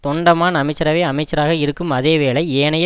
தொண்டமான் அமைச்சரவை அமைச்சராக இருக்கும் அதே வேளை ஏனைய